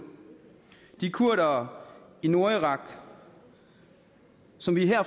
de kurdere i nordirak som vi her